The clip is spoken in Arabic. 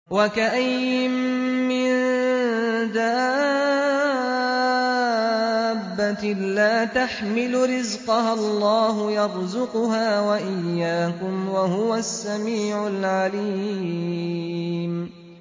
وَكَأَيِّن مِّن دَابَّةٍ لَّا تَحْمِلُ رِزْقَهَا اللَّهُ يَرْزُقُهَا وَإِيَّاكُمْ ۚ وَهُوَ السَّمِيعُ الْعَلِيمُ